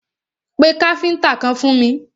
Pé káfíntà kan fún mi!